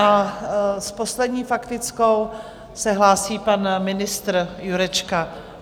A s poslední faktickou se hlásí pan ministr Jurečka.